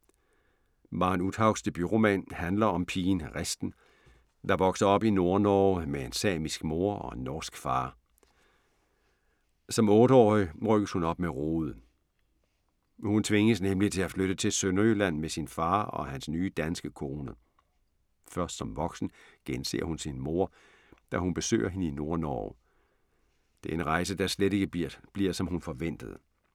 Maren Uthaugs debutroman handler om pigen Risten, der vokser op i Nordnorge med en samisk mor og en norsk far. Som otte-årig rykkes hun op med rode. Hun tvinges nemlig til at flytte til Sønderjylland med sin far og hans nye danske kone. Først som voksen genser hun sin mor, da hun besøger hende i Nordnorge. Det er en rejse, der slet ikke bliver, som hun forventede.